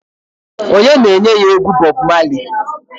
Onye na-enye ya egwu Bob Marley?